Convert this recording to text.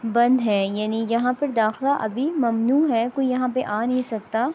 بندھ ہے یعنی یہا پر داقالہ ممنو ہے کوئی یہا پر آ نہیں سکتا